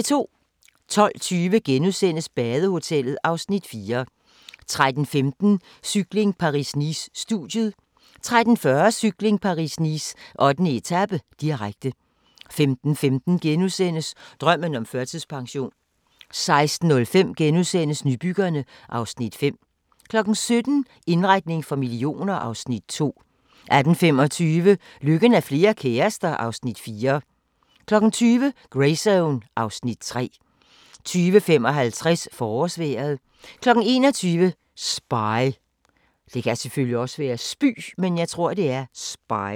12:20: Badehotellet (Afs. 4)* 13:15: Cykling: Paris-Nice - studiet 13:40: Cykling: Paris-Nice - 8. etape, direkte 15:15: Drømmen om førtidspension * 16:05: Nybyggerne (Afs. 5)* 17:00: Indretning for millioner (Afs. 2) 18:25: Lykken er flere kærester (Afs. 4) 20:00: Greyzone (Afs. 3) 20:55: Forårsvejret 21:00: Spy